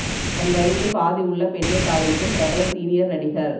தன் வயதில் பாதி உள்ள பெண்ணை காதலிக்கும் பிரபல சீனியர் நடிகர்